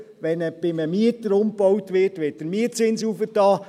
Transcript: Wenn bei einem Mieter umgebaut wird, wird der Mietzins erhöht.